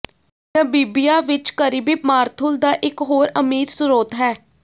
Namibia ਵਿੱਚ Karibib ਮਾਰੂਥਲ ਦਾ ਇੱਕ ਹੋਰ ਅਮੀਰ ਸਰੋਤ ਹੈ